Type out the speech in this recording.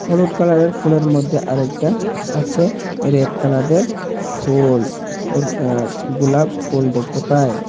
হলুড কালারের ফুলের মধ্যে আরেকটা আছে রেড কালারের ফুল ওর অ্যা গুলাপ ফুল ডেখটে পাই।